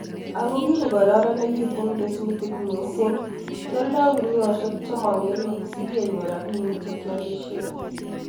ako kikororonitu kesutik mising, kioldei guniosiek chemong'ering sokenyorun robinik chekiolisien